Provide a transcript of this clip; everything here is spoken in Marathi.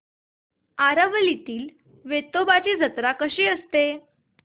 आरवलीतील वेतोबाची जत्रा कशी असते